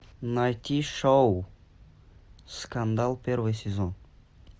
найти шоу скандал первый сезон